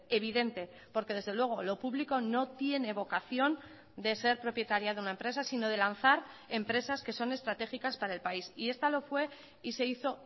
evidente porque desde luego lo público no tiene vocación de ser propietaria de una empresa sino de lanzar empresas que son estratégicas para el país y esta lo fue y se hizo